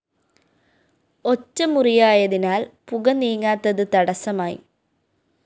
ഒറ്റ മുറിയായതിനാല്‍ പുക നീങ്ങാത്തത് തടസ്സമായി